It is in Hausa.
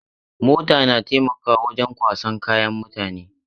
Mota na taimakawa wajen kwasan kayayyaki mutane.